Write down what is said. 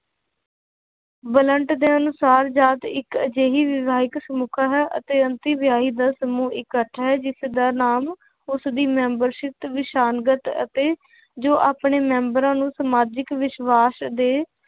ਵਲੰਟ ਦੇ ਅਨੁਸਾਰ ਜਾਤ ਇੱਕ ਅਜਿਹੀ ਹੈ ਅਤੇ ਦਾ ਸਮੂਹ ਇਕੱਠ ਹੈ ਜਿਸਦਾ ਨਾਮ ਉਸਦੀ ਅਤੇ ਜੋ ਆਪਣੇ ਮੈਂਬਰਾਂ ਨੂੰ ਸਮਾਜਿਕ ਵਿਸ਼ਵਾਸ਼ ਦੇ